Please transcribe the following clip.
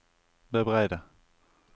bebreide